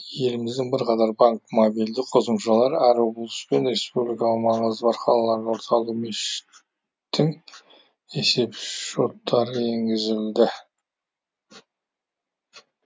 еліміздің бірқатар банк мобильді қосымшалары әр облыс пен республикалық маңызы бар қалалардағы орталық мешіт тің есеп шоттары енгізілді